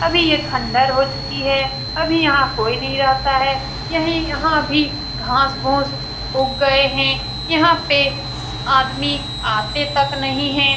अभी यह खंडर हो चुकी है । अभी यहाँ कोई नहीं रहता है । यही यहाँ अभी घास-फूस उग गए हैं । यहाँ पे स आदमी आते तक नहीं हैं ।